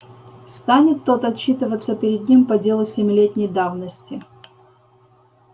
станет тот отчитываться перед ним по делу семилетней давности